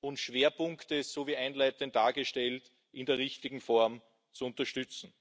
und Schwerpunkte so wie einleitend dargestellt in der richtigen Form zu unterstützen.